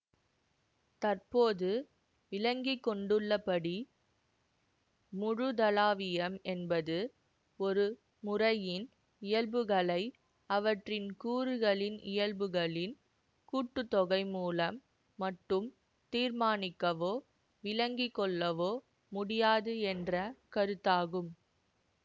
தற்போது விளங்கி கொண்டுள்ள படி முழுதளாவியம் என்பது ஒரு முறையின் இயல்புகளை அவற்றின் கூறுகளின் இயல்புகளின் கூட்டு தொகை மூலம் மட்டும் தீர்மானிக்கவோ விளங்கி கொள்ளவோ முடியாது என்ற கருத்தாகும்